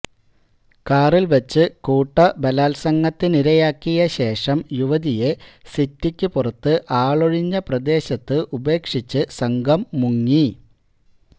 കാറില് വച്ച് കൂട്ട ബലാത്സംഗത്തിനരയാക്കിയ ശേഷം യുവതിയെ സിറ്റിക്ക് പുറത്ത് ആളൊഴിഞ്ഞ പ്രദേശത്ത് ഉപേക്ഷിച്ച് സംഘം മുങ്ങി